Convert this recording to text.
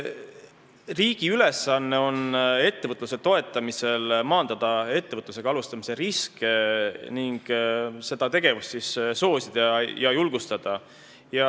Riigi ülesanne ettevõtluse toetamisel on maandada ettevõtlusega alustamise riske ning seda tegevust soosida ja julgustada.